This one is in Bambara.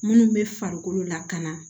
Minnu bɛ farikolo lakana